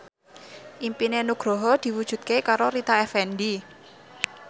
impine Nugroho diwujudke karo Rita Effendy